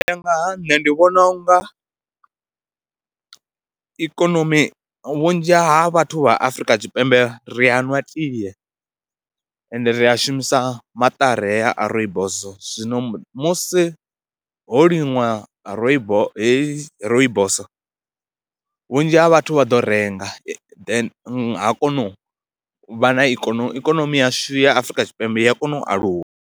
U ya nga ha nṋe ndi vhona u nga ikonomi vhunzhi ha vhathu vha Afrika tshipembe ri a nwa tie ende ri a shumisa maṱari haya a rooibos, zwino musi ho liṅwa rooibos heyi rooibos vhunzhi ha vhathu vha ḓo renga then ha kona u vha na ikonomi ikonomi yashu ya Afrika Tshipembe ya kona u aluwa.